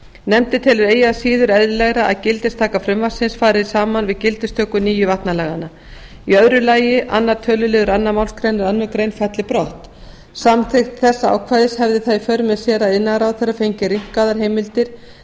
nefndin telur eigi að síður eðlilegra að gildistaka frumvarpsins fari saman við gildistöku nýju vatnalaganna í öðru lagi annar töluliður annarri málsgrein annarrar greinar falli brott samþykkt þessa ákvæðis hefði það í för með sér að iðnaðarráðherra fengi rýmkaðar heimildir